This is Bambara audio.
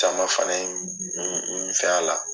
Caman fana ye n fɛn a la.